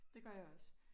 Det gør jeg også